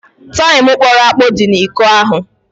Taịm kpọrọ akpọ dị n'iko ahụ.